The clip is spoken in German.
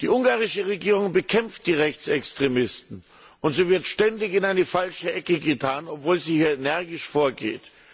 Die ungarische Regierung bekämpft die Rechtsextremisten, und sie wird ständig in eine falsche Ecke getan, obwohl sie hier energisch vorgeht.